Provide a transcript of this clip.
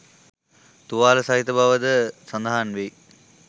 තුවාල සහිත බව ද සඳහන් වෙයි